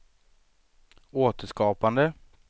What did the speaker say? återskapande